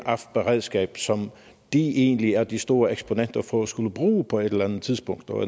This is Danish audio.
beredskab som de egentlig er de store eksponenter for at skulle bruge på et eller andet tidspunkt og